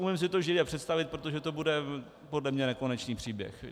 Umím si to živě představit, protože to bude podle mě nekonečný příběh.